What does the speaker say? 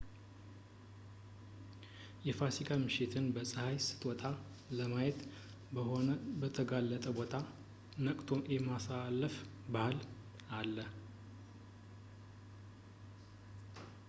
የፋሲካ ምሽትን ፀሃይ ስትወጣ ለማየት በሆነ በተጋለጠ ቦታ ነቅቶ የማሳለፍ ባህል አለ